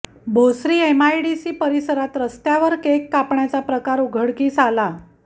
Bhosari MIDC परिसरात रस्त्यावर cake कापण्याचा प्रकार उघडकीस आला